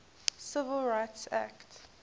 civil rights act